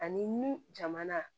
Ani nun jamana